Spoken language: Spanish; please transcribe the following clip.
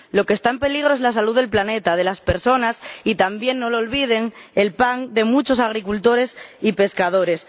Lo que está en peligro es la salud del planeta, de las personas y, también, no lo olviden, el pan de muchos agricultores y pescadores.